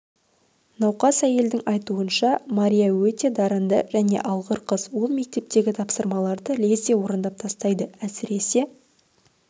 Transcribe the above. науқас әйелдің айтуынша мария өте дарынды және алғыр қыз ол мектептегі тапсырмаларды лезде орындап тастайды әсіресе